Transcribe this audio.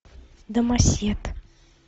домосед